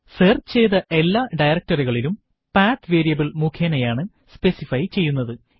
search ചെയ്ത എല്ലാ ഡയറക്ടറികളും പത്ത് വേരിയബിൾ മുഖേനയാണ് സ്പെസിഫൈ ചെയ്യുന്നത്